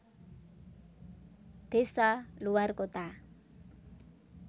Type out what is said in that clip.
Desa luwar kota